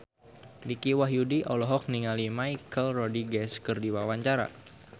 Dicky Wahyudi olohok ningali Michelle Rodriguez keur diwawancara